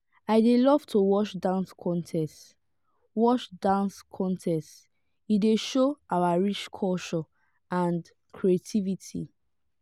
i dey love to watch dance contests watch dance contests e dey show our rich culture and creativity.